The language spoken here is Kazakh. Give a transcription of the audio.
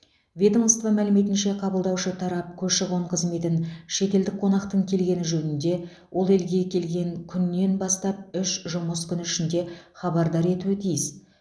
ведомство мәліметінше қабылдаушы тарап көші қон қызметін шетелдік қонақтың келгені жөнінде ол елге келген күннен бастап үш жұмыс күні ішінде хабардар етуі тиіс